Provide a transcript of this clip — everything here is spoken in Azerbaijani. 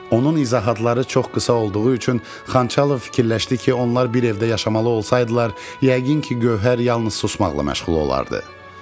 Onun izahatları çox qısa olduğu üçün Xançalov fikirləşdi ki, onlar bir evdə yaşamalı olsaydılar, yəqin ki, Gövhər yalnız susmaqla məşğul olardı.